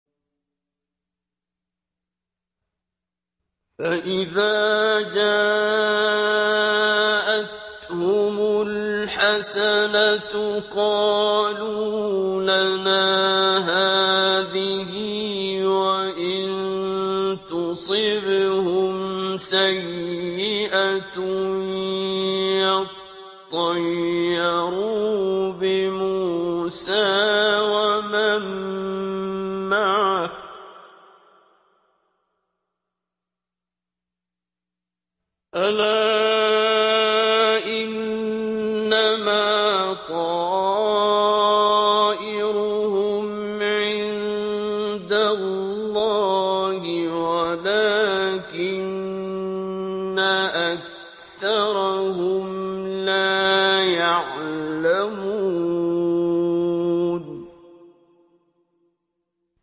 فَإِذَا جَاءَتْهُمُ الْحَسَنَةُ قَالُوا لَنَا هَٰذِهِ ۖ وَإِن تُصِبْهُمْ سَيِّئَةٌ يَطَّيَّرُوا بِمُوسَىٰ وَمَن مَّعَهُ ۗ أَلَا إِنَّمَا طَائِرُهُمْ عِندَ اللَّهِ وَلَٰكِنَّ أَكْثَرَهُمْ لَا يَعْلَمُونَ